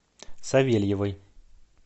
савельевой